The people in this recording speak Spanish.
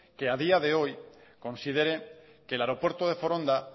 que a día de hoy considere que el aeropuerto de foronda